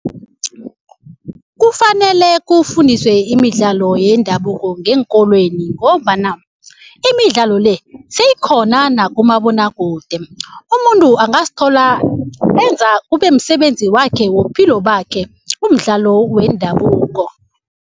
Kufanele kufundiswe imidlalo yendabuko ngeenkolweni ngombana imidlalo le seyikhona nakumabonakude. Umuntu angazithola enza kubemsebenzi wakhe wobuphilo bakhe umdlalo wendabuko.